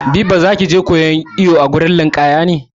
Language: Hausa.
Biba za ki je koyan iwo a wurin ninƙaya?